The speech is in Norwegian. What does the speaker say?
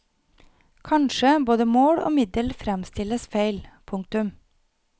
Kanskje både mål og middel fremstilles feil. punktum